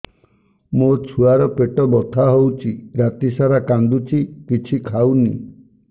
ମୋ ଛୁଆ ର ପେଟ ବଥା ହଉଚି ରାତିସାରା କାନ୍ଦୁଚି କିଛି ଖାଉନି